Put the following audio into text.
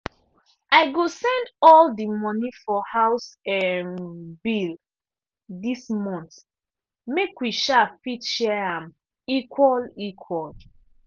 i go send all di money for house um bill dis month make wi um fit share am equal equal.